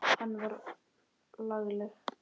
Hún var lagleg.